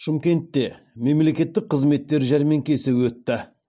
шымкентте мемлекеттік қызметтер жәрмеңкесі өтті